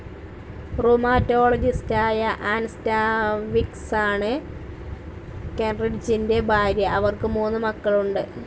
റുമാറ്റോളജിസ്റ്റായ Ann സ്റ്റാൻവിക്‌സാണ് കെൻറിഡ്ജിൻ്റെ ഭാര്യ. അവർക്കു മൂന്നു മക്കളുണ്ട്.